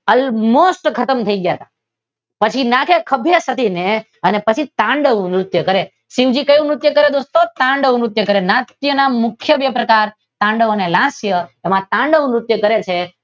અહી મોસ્ટ ખાતાં થઈ ગયા હતા પછી નાથે ખભે ચડી ને અને પછી તાંડવ નૃત્ય કરે છે. શિવજી કેવું નૃત્ય કરે દોસ્તો? તાંડવ નૃત્ય. નાચ્ય ના મુખ્ય બે પ્રકાર તાંડવ અને નાચ્ય. તેમાં તાંડવ નૃત્ય કરે છે.